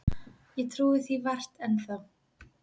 Ég trúi því vart enn þá.